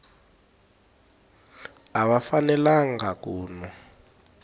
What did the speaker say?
a va fanelangi ku nwa